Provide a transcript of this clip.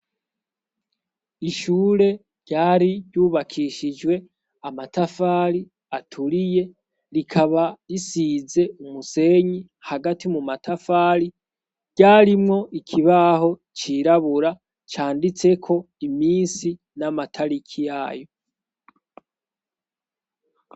Ishure ryari ryubakishijwe amatafali aturiye rikaba risize umusenyi hagati mu matafali ryarimwo ikibaho cirabura canditseko imisi n'amataliki yayo a.